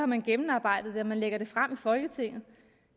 man gennemarbejdet det inden man lægger det frem i folketinget